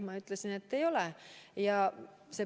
Ma ütlesin, et ei ole.